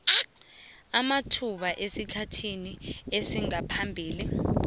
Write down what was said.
amathuba esikhathini sangaphambili